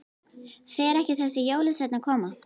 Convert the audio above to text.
Fer ekki þessi jólasveinn að koma?